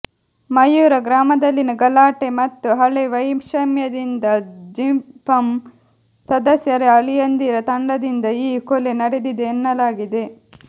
ಮಯೂರ ಗ್ರಾಮದಲ್ಲಿನ ಗಲಾಟೆ ಮತ್ತು ಹಳೇ ವೈಷಮ್ಯದಿಂದ ಜಿಪಂ ಸದಸ್ಯರ ಅಳಿಯಂದಿರ ತಂಡದಿಂದ ಈ ಕೊಲೆ ನಡೆದಿದೆ ಎನ್ನಲಾಗಿದೆ